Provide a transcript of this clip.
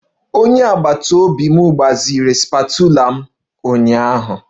Onye agbata obi m gbaziri spatula m ụnyaahụ